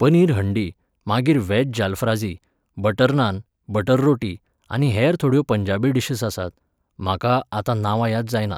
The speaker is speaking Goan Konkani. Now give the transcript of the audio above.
पनीर हंडी, मागीर veg jalfrezi, butter naan, butter रोटी, आनी हेर थोड्यो पंजाबी डिशस आसतात, म्हाका आतां नांवां याद जायनात.